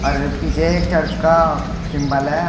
और पीछे एक चर्च का सिंबल है।